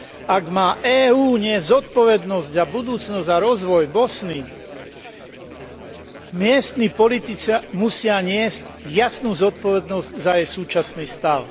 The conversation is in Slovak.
Ak má EÚ niesť zodpovednosť za budúcnosť a rozvoj Bosny, miestni politici musia niesť jasnú zodpovednosť za jej súčasný stav.